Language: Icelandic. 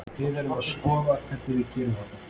Við erum að skoða hvernig við gerum þetta.